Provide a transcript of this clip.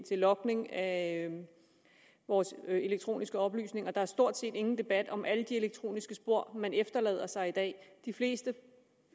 logning af vores elektroniske oplysninger der stort set ingen debat er om alle de elektroniske spor man efterlader sig i dag de fleste